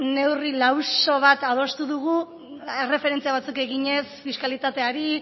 neurri lauso bat adostu dugu erreferentzia batzuk eginez fiskalitateari